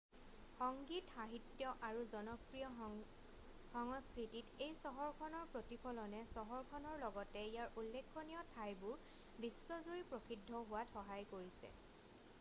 সংগীত সাহিত্য আৰু জনপ্ৰিয় সংস্কৃতিত এই চহৰখনৰ প্ৰতিফলনে চহৰখনৰ লগতে ইয়াৰ উল্লেখনীয় ঠাইবোৰ বিশ্বজুৰি প্ৰসিদ্ধ হোৱাত সহায় কৰিছে